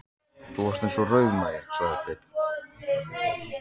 Þú varst eins og rauðmagi, sagði Bill.